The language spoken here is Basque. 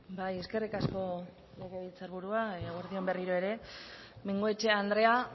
bai eskerrik asko legebiltzarburua eguerdi on berriro ere bengoechea andrea